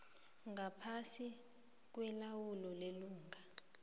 ngaphasi kwelawulo lelunga